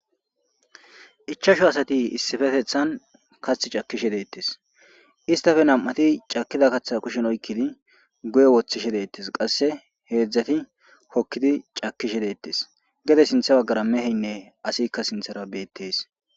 ichashu asati issifetethan kath cakishe deettes istafe nam7ati cakida kaththa kushen oykkidi guye woththishedettes qasse heedzdzati kokkidi cakishe deettes gede sintha baggara meheynne asikka sinthara beettees